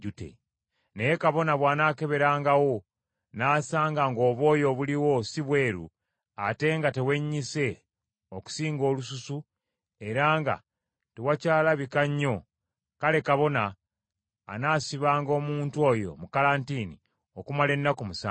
Naye kabona bw’anaakeberangawo, n’asanga ng’obwoya obuliwo si bweru, ate nga tewennyise okusinga olususu era nga tewakyalabika nnyo, kale kabona anaasibanga omuntu oyo mu kalantiini okumala ennaku musanvu.